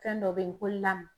Fɛn dɔ bɛ ye ko la